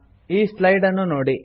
ಈ ಸ್ಲೈಡ್ ಅನ್ನು ನೋಡಿ